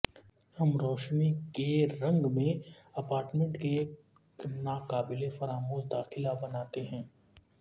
ہم روشنی کے رنگ میں اپارٹمنٹ کے ایک ناقابل فراموش داخلہ بناتے ہیں